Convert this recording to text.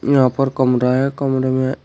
यहां पर कमरा है कमरे में।